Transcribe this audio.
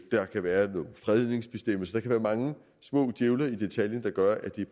der kan være nogle fredningsbestemmelser der kan være mange små djævle i detaljen der gør at det